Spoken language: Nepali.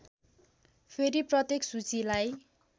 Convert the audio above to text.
फेरि प्रत्येक सूचीलाई